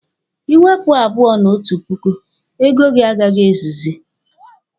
Ị wepụ abụọ na otu puku, ego gị agaghị ezuzi.